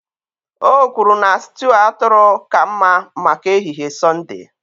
O kwuru na sịtịụ atụrụ ka mma maka ehihie Sọnde